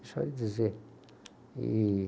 Deixa eu lhe dizer. E...